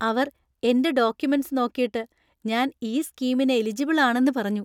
അവർ എന്‍റെ ഡോക്യൂമെന്‍റ്സ്‌ നോക്കീട്ട് ഞാൻ ഈ സ്കീമിന് എലിജിബിൾ ആണെന്ന് പറഞ്ഞു.